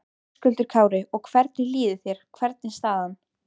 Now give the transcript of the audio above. Höskuldur Kári: Og hvernig líður þér, hvernig er staðan?